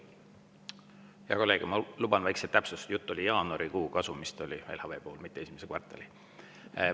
Hea kolleeg, ma luban endale väikese täpsustuse: LHV puhul oli jutt jaanuarikuu kasumist, mitte esimese kvartali kasumist.